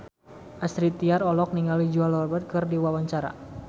Astrid Tiar olohok ningali Julia Robert keur diwawancara